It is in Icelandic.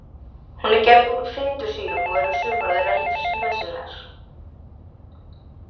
Hún er gerð úr fitusýrum og eru sumar þeirra lífsnauðsynlegar.